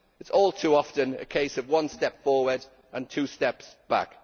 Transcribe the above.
It is all too often a case of one step forward and two steps back.